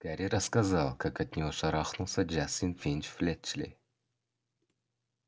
гарри рассказал как от него шарахнулся джастин финч-флетчли